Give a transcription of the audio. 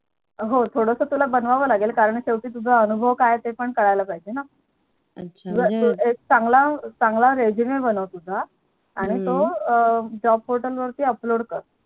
हो थोडासा तुला बनवावं लागेल कारण तुझा अनुभव काय आहे ते पण कळायला पाहिजे ना अच्छा हम्म एक चांगला चांगला Resume बनव तुझा हम्म आणि तो Job portal वर Upload कर